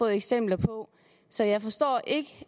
eksempler på så jeg forstår ikke